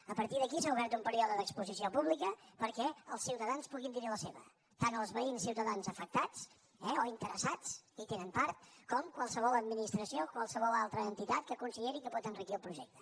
a partir d’aquí s’ha obert un període d’exposició pública perquè els ciutadans puguin dir hi la seva tant els veïns i ciutadans afectats eh o interessats hi tenen part com qualsevol administració o qualsevol altra entitat que consideri que pot enriquir el projecte